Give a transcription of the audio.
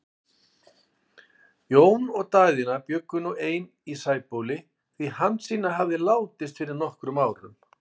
Jón og Daðína bjuggu nú ein í Sæbóli, því Hansína hafði látist fyrir nokkrum árum.